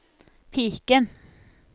piken